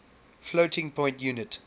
floating point unit